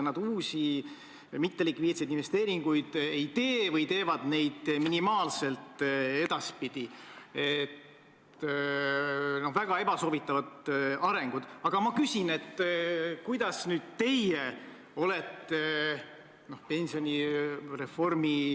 Kuna te Stenbocki maja kohta küsisite, siis 2017. aastal enne 20. augustit, ma mäletan, sai seal korraldatud väga ilus üritus ja avati sein, kus on kujutatud ka iseseisvuse taastanud Eesti Vabariigi riigijuhte ja peaministreid.